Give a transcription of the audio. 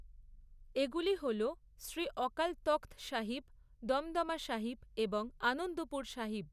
এগুলি হল শ্রী অকাল তখৎ সাহিব, দমদমা সাহিব এবং আনন্দপুর সাহিব।